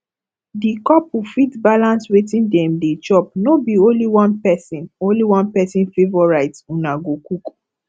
di couple fit balance wetin dem dey chop no be only one person only one person favourite una go cook